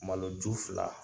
Maloju fila